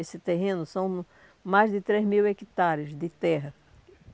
Esse terreno são mais de três mil hectares de terra.